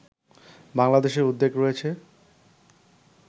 বাংলাদেশের উদ্বেগ রয়েছে